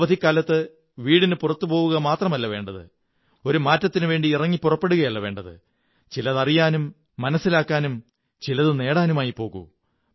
ഈ അവധിക്കാലത്ത് വീടിനു പുറത്തുപോവുക മാത്രമല്ല വേണ്ടത് ഒരു മാറ്റത്തിനുവേണ്ടി ഇറങ്ങിപ്പുറപ്പെടുകയല്ല വേണ്ടത് ചിലതറിയാനും മനസ്സിലാക്കാനും ചിലതു നേടാനുമായി പോകൂ